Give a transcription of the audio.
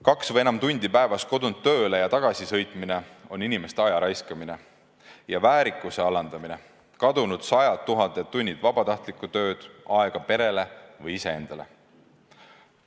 Kaks või enam tundi päevas kodunt tööle ja tagasi sõitmine on inimeste aja raiskamine ja väärikuse alandamine, see tähendab kadunud sadu tuhandeid tunde vabatahtlikku tööd, aega perele või iseendale.